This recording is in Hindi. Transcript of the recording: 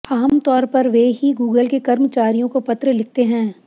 आम तौर पर वे ही गूगल के कर्मचारियों को पत्र लिखते हैं